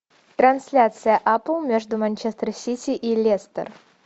трансляция апл между манчестер сити и лестер